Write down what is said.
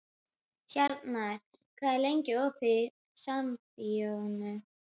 Hjarnar, hvað er lengi opið í Sambíóunum?